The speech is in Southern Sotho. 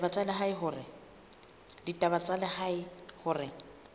la ditaba tsa lehae hore